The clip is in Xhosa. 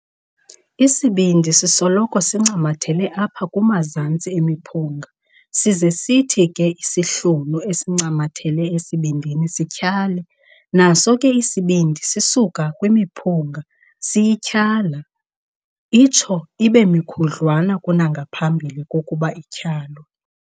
Isibindi sisoloko sincamathele apha kumazantsi emiphunga size sithi ke isihlunu esincamathele esibindini sityhale, naso ke isibindi sisuka kwimiphunga siyityhala, itsho ibemikhudlwana kunangaphambi kokuba ityhalwe.